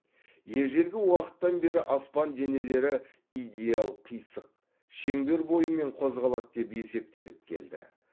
ежелгі уақыттан бері аспан денелері идеал қисық шеңбер бойымен қозғалады деп есептеліп келді